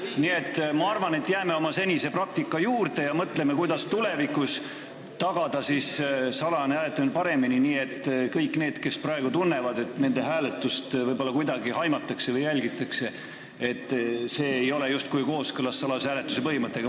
Nii et ma arvan, et jääme oma senise praktika juurde ja mõtleme, kuidas tulevikus paremini salajast hääletamist tagada, et kõik need, kes praegu tunnevad, et nende hääletamist võib-olla kuidagi jälgitakse, ei arvaks, et see ei ole justkui kooskõlas salajase hääletuse põhimõttega.